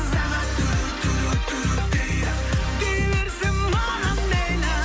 сағат дейді дей берсін маған мейлі